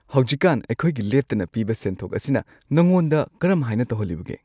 ꯍꯧꯖꯤꯛꯀꯥꯟ ꯑꯩꯈꯣꯏꯒꯤ ꯂꯦꯞꯇꯅ ꯄꯤꯕ ꯁꯦꯟꯊꯣꯛ ꯑꯁꯤꯅ ꯅꯉꯣꯟꯗ ꯀꯔꯝꯍꯥꯏꯅ ꯇꯧꯍꯜꯂꯤꯕꯒꯦ ?